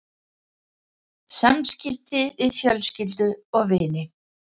SAMSKIPTI VIÐ FJÖLSKYLDU OG VINI